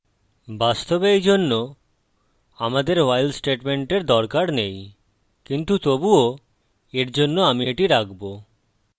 বাস্তবে এইজন্য আমাদের while স্টেটমেন্টের দরকার নেই কিন্তু তবুও এর জন্য আমি এটি রাখবো